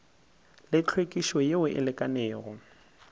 le hlwekišo yeo e lekanego